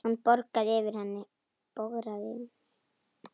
Hann bograði yfir henni.